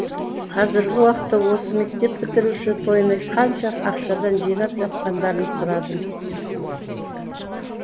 қазіргі уақытта осы мектеп бітіруші тойына қанша ақшадан жинап жатқандарын сұрадым